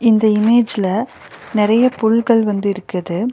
இந்த இமேஜ்ல நெறைய புல்கள் வந்து இருக்குது.